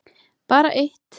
Bara eitt